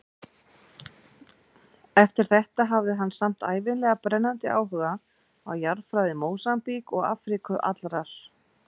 Eftir þetta hafði hann samt ævinlega brennandi áhuga á jarðfræði Mósambík og Afríku allrar.